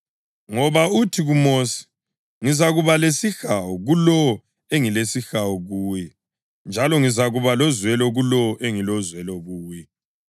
Ngoba uthi kuMosi: “Ngizakuba lesihawu kulowo engilesihawu kuye, njalo ngizakuba lozwelo kulowo engilozwelo kuye.” + 9.15 U-Eksodasi 33.19